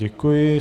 Děkuji.